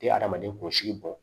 Tɛ hadamaden kɔlɔsi bɔn